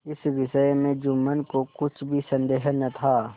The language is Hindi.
इस विषय में जुम्मन को कुछ भी संदेह न था